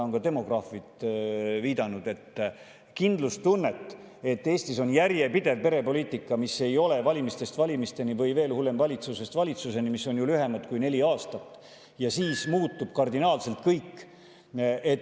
Ka demograafid on viidanud sellele, et kindlustunnet, et Eestis oleks järjepidev perepoliitika, mis ei oleks valimistest valimisteni või veel hullem – valitsusest valitsuseni, mis on lühem kui neli aastat ja millega kardinaalselt muutub kõik.